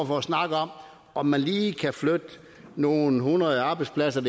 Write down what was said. for at snakke om om man lige kan flytte nogle hundrede arbejdspladser